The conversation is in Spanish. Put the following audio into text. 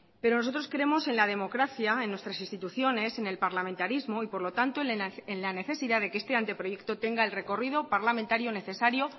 pero nosotros creemos en la democracia en nuestras instituciones en el parlamentarismo y por lo tanto en la necesidad de que este anteproyecto tenga el recorrido parlamentario necesario